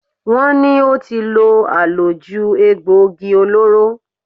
Wọ́n ní ó ti lo àlòjù egboògi olóró.